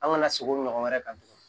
An kana segin ɲɔgɔn ma tuguni